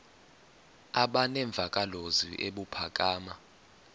aba nemvakalozwi ebuphakama